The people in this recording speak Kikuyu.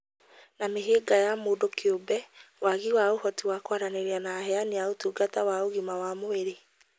na mĩhĩnga ya mũndũ kĩũmbe (wagi wa ũhoti wa kwaranĩria na aheani a ũtungata wa ũgima wa mwĩrĩ).